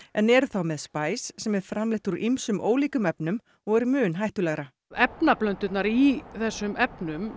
en eru þá með sem er framleitt úr ýmsum ólíkum efnum og er mun hættulegra efnablöndurnar í þessum efnum